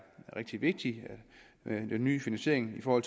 rigtig vigtigt med en ny finansiering for